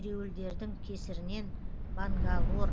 ереуілдердің кесірінен бангалор